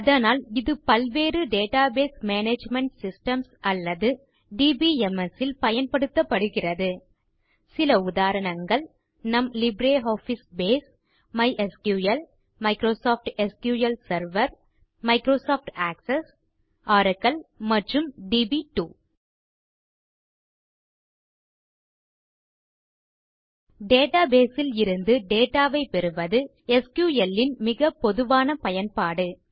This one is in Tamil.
அதனால் இது பல்வேறு டேட்டாபேஸ் மேனேஜ்மெண்ட் சிஸ்டம்ஸ் அல்லது டிபிஎம்எஸ் ல் பயன்படுத்தப்படுகிறது டேட்டாபேஸ் ல் இருந்து டேட்டா ஐ பெறுவது எஸ்கியூஎல் ன் மிகப் பொதுவான பயன்பாடு